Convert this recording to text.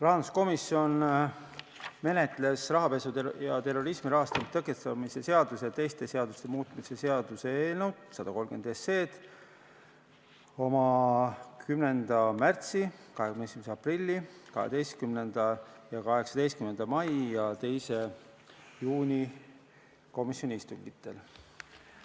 Rahanduskomisjon menetles rahapesu ja terrorismi rahastamise tõkestamise seaduse ja teiste seaduste muutmise seaduse eelnõu 130 oma 10. märtsi, 21. aprilli, 12. ja 18. mai ning 2. juuni komisjoni istungil.